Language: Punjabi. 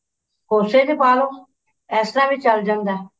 ਕੋਸੇ ਚ ਪਾ ਲੋ ਇਸ ਤਰ੍ਹਾਂ ਵੀ ਚੱਲ ਜਾਂਦਾ